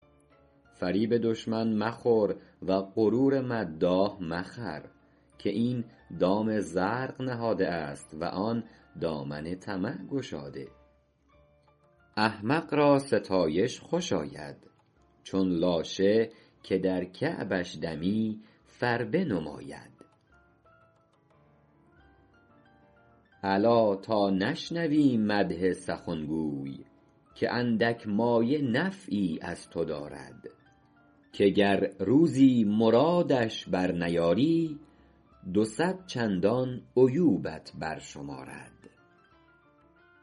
فریب دشمن مخور و غرور مداح مخر که این دام زرق نهاده است و آن دامن طمع گشاده احمق را ستایش خوش آید چون لاشه که در کعبش دمی فربه نماید الا تا نشنوی مدح سخنگوی که اندک مایه نفعی از تو دارد که گر روزی مرادش بر نیاری دو صد چندان عیوبت بر شمارد